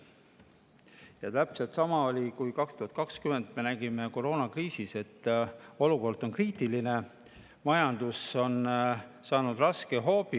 Ja täpselt sama oli, kui me 2020 nägime koroonakriisis, et olukord on kriitiline, majandus on saanud raske hoobi.